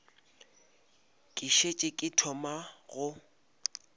ke šetše ke thoma go